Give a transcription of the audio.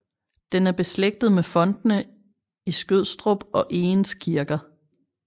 Den er beslægtet med fontene i Skødstrup og Egens Kirker